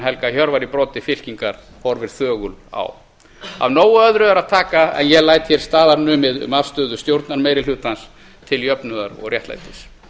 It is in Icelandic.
helga hjörvar í broddi fylkingar horfir þögul á af nógu öðru er að taka en ég læt hér staðar numið um afstöðu stjórnarmeirihlutans til jöfnuðar og réttlætis